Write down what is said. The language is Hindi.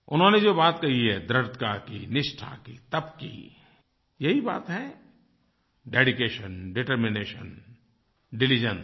उन्होंने जो बात कही है दृढ़ता की निष्ठा की तप की यही बात है डेडिकेशन डिटरमिनेशन डिलिजेंस